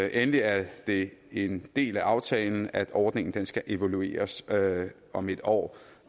endelig er det en del af aftalen at ordningen skal evalueres om en år